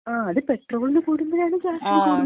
മ്, അത് പെട്രോളിന് കൂടുമ്പോഴാണ് ഗ്യാസിന് കൂടുന്നത്.